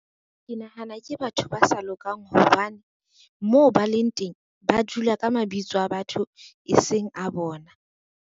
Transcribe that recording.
Ke nahana ke batho ba sa lokang hobane, moo ba leng teng ba dula ka mabitso a batho e seng a bona.